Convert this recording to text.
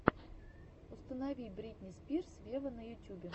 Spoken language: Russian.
установи бритни спирс вево на ютюбе